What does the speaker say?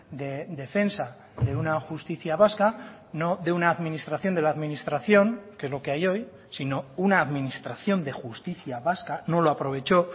de defensa de una justicia vasca no de una administración de la administración que es lo que hay hoy sino una administración de justicia vasca no lo aprovechó